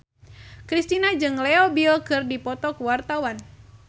Kristina jeung Leo Bill keur dipoto ku wartawan